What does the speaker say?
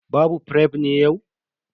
Babu fref ne yau?